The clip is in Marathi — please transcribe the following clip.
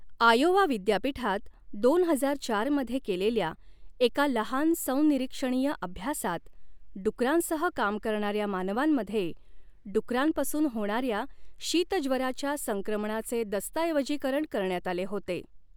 आयोवा विद्यापीठात दोन हजार चार मध्ये केलेल्या एका लहान संनिरीक्षणीय अभ्यासात डुकरांसह काम करणाऱ्या मानवांमध्ये डुकरांपासून होणाऱ्या शीतज्वराच्या संक्रमणाचे दस्तऐवजीकरण करण्यात आले होते.